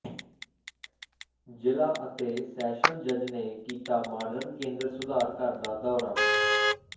ਜ਼ਿਲ੍ਹਾ ਅਤੇ ਸੈਸ਼ਨਜ ਜਜ ਨੇ ਕੀਤਾ ਮਾਡਰਨ ਕੇਂਦਰ ਸੁਧਾਰ ਘਰ ਦਾ ਦੌਰਾ